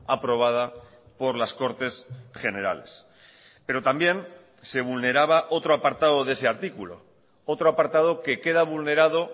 aprobada por las cortes generales pero también se vulneraba otro apartado de ese artículo otro apartado que queda vulnerado